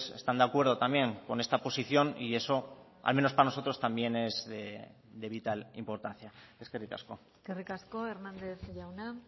están de acuerdo también con esta posición y eso al menos para nosotros también es de vital importancia eskerrik asko eskerrik asko hérnandez jauna